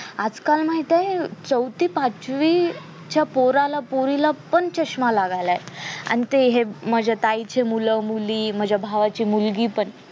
आज काल पण माहित आहे चौथी पाचवी च्या पोराला पोरीला पण चश्मा लागायलाय आणि ते हे माझे ताई चे मूल मुली माझा भावाचे मुलगी पण